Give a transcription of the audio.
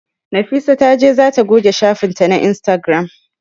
Nafisa ta ce za ta goge shafin ta na Instagram